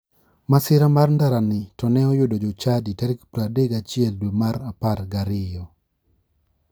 Masira mar ndarani to ne oyudo jochadi tarik 31 dwe mar apar gi ariyo.